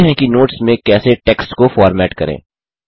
सीखते हैं कि नोट्स में कैसे टेक्स्ट को फ़ॉर्मेट करें